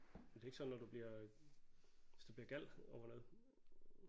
Og det er ikke sådan når du bliver hvis du bliver gal over noget